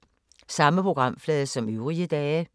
Samme programflade som øvrige dage